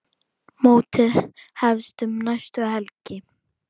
Mótið hefst um næstu helgi.